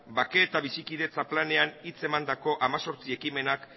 bake eta bizikidetza planean hitz emandako hemezortzi ekimenak